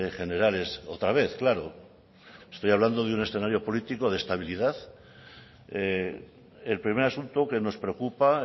generales otra vez claro estoy hablando de un escenario político de estabilidad el primer asunto que nos preocupa